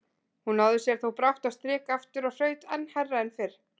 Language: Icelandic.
Hún náði sér þó brátt á strik aftur og hraut enn hærra en fyrr.